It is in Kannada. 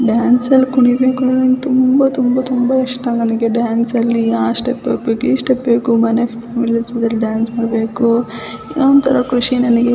ಡಾನ್ಸ್ ಅಲ್ಲಿ ಕುಣಿಬೇಕು ಅಂತ ತುಂಬಾ ತುಂಬಾ ಇಷ್ಟ ನನಗೆ ಡಾನ್ಸ್ ಅಲ್ಲಿ ಆ ಸ್ಟೆಪ್ ಹಾಕ್ಬೇಕು ಈ ಸ್ಟೆಪ್ ಹಾಕ್ಬೇಕು ಮಣೇಲ್ ಹೋಗಿ ಡಾನ್ಸ್ ಮಾಡಬೇಕು ಏನೂಂತ ಖುಷಿ ನಂಗೆ --